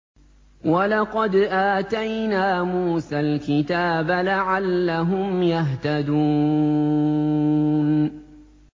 وَلَقَدْ آتَيْنَا مُوسَى الْكِتَابَ لَعَلَّهُمْ يَهْتَدُونَ